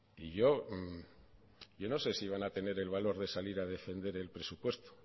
y yo yo no sé si van a tener el valor de salir a defender el presupuesto